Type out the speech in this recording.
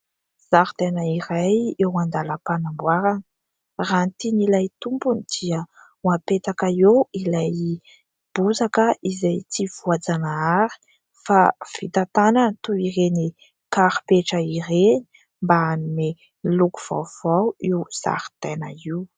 Zaridaina iray eo andalam-panamboarana. Raha ny tian'ilay tompony dia ho apetaka eo ilay bozaka izay tsy voajanahary fa vita tanana toy ireny karipetra ireny, mba hanome loko vaovao io zaridaina io.